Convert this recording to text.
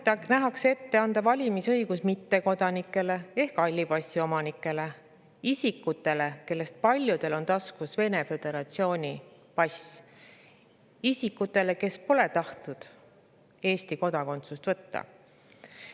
Eelnõuga nähakse ette anda valimisõigus mittekodanikele ehk halli passi omanikele: isikutele, kellest paljudel on taskus Vene föderatsiooni pass, isikutele, kes pole tahtnud Eesti kodakondsust võtta.